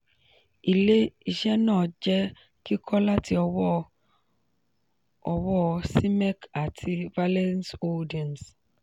ilé-iṣé náà jẹ́ kíkọ́ láti ọwọ́ ọwọ́ cmec àti valenz holdings.